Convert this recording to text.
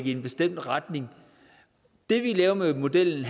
i en bestemt retning det vi laver med modellen